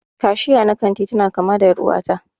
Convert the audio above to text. Kashiya na kanti tana kama da er'uwa ta.